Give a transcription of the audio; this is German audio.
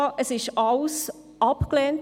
Alles wurde abgelehnt.